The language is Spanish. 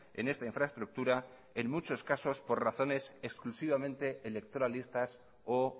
en esta infraestructura en muchos casos por razones exclusivamente electoralistas o